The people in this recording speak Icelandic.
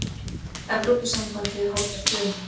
Evrópusambandið hótar Dönum